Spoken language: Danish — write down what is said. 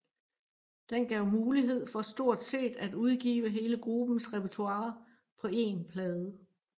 Den gav mulighed for stort set at udgive hele gruppens repertoire på én plade